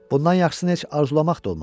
Bundan yaxşısını heç arzulamaq da olmaz.